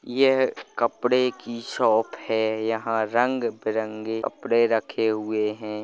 यह कपड़े की शॉप है यहाँ रंगबिरंगे कपड़े रखे हुए है।